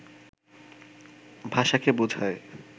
ভাষাকে বোঝায়